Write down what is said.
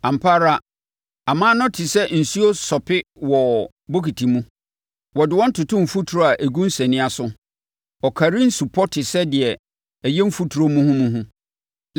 Ampa ara aman no te sɛ nsuo sope wɔ bokiti mu; wɔde wɔn toto mfuturo a ɛgu nsania so; ɔkari nsupɔ te sɛ deɛ ɛyɛ mfuturo muhumuhu.